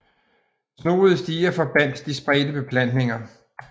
Snoede stier forbandt de spredte beplantninger